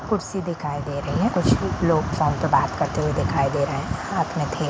कुर्सी दिखाई दे रही हैं कुछ लोग फ़ोन पे बात करते हुए दिखाई दे रहे हैं हाथ मैं थे--